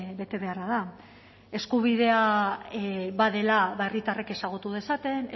betebeharra da eskubidea badela herritarrek ezagutu dezaten